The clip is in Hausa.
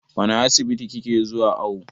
Wane asibiti ki ke zuwa awo?